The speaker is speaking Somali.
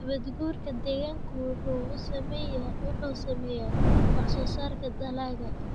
Nabaad-guurka deegaanku waxa uu saameeyaa wax-soo-saarka dalagga.